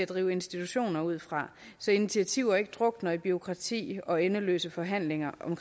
drive institutioner ud fra så initiativer ikke drukner i bureaukrati og endeløse forhandlinger om